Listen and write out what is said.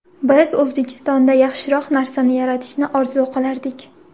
Biz O‘zbekistonda yaxshiroq narsani yaratishni orzu qilardik.